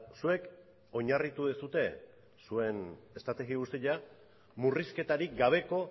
zuek oinarritu duzue zuen estrategia guztia murrizketarik gabeko